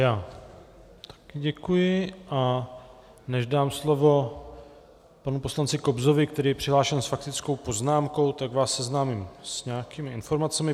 Já také děkuji, a než dám slovo panu poslanci Kobzovi, který je přihlášen s faktickou poznámkou, tak vás seznámím s nějakými informacemi.